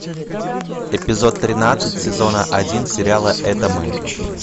эпизод тринадцать сезона один сериала это мы